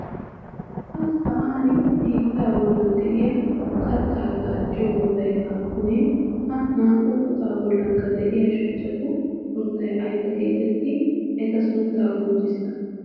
Ha sa'an biittaa bolli de'iya kattaa gaacciyo woxay aappunee? Ha naa"u woxaa bollikka de'iya shuchchatu sunttay ayba geetettii? Eta sunttaa qonccissa.